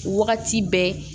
Wagati bɛɛ